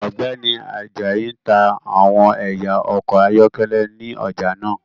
Ọgbẹni Ajayi n ta awọn ẹya ọkọ ayọkẹlẹ ni ọja naa